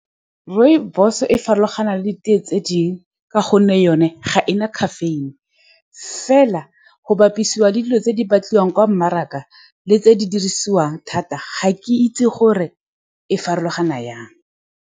Rooibos-o e farologana le di-tea tse dingwe ka gonne yone ga e na caffeine. Fela, go bapisiwa le dilo tse di batliwang kwa mmarakeng le tse di dirisiwang thata, ga ke itse gore e farologana jang.